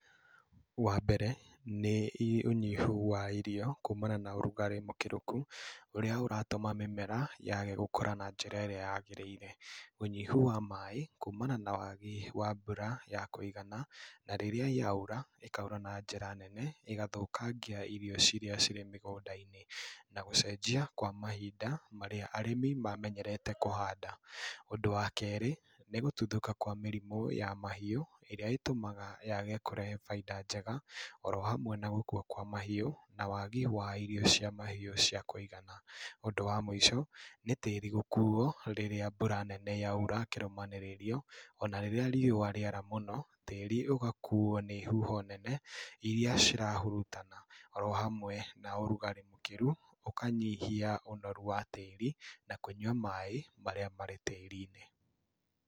Wa mbere nĩ, ũnyihu wa irio kuumana na ũrugarĩ mũkĩrũku, ũrĩa ũratũma mĩmera yage gũkũra na njĩra ĩrĩa yagĩrĩire. Ũnyihu wa maaĩ kumana na wagi wa mbura ya kũigana, na rĩrĩa yaura ĩkaura na njĩra nene ĩgathũkangia irio ciria cirĩ mĩgũnda-inĩ, na gũcenjia kwa mahinda marĩa arĩmi mamenyerete kũhanda. Ũndũ wa kerĩ, nĩ gũtuthũka kwa mĩrimũ ya mahiũ ĩrĩa ĩtũmaga yage kũrehe baida njega oro hamwe na gũkua kwa mahiũ na wagi wa irio cia mahiũ cia kũigana. Ũndũ wa mũico, nĩ tĩri gũkuo rĩrĩa mbura nene yaura kirũmanĩrĩrio, ona rĩrĩa riũwa rĩara mũno, tĩri ũgakuo nĩ huho nene iria cirahurutana, oro hamwe na ũrugarĩ mũkĩru ũkanyihia ũnoru wa tĩri na kũnyua maaĩ marĩa marĩ tĩri-inĩ.